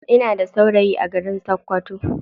Ina da saurayi a garin sakkwato.